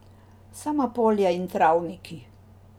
Sama polja in travniki.